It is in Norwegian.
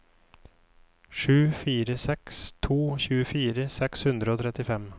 sju fire seks to tjuefire seks hundre og trettifem